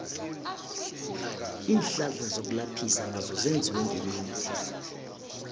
iinhlahla zokulaphisa nazo zenziwe ngemithi